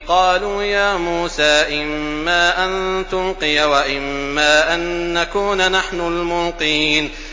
قَالُوا يَا مُوسَىٰ إِمَّا أَن تُلْقِيَ وَإِمَّا أَن نَّكُونَ نَحْنُ الْمُلْقِينَ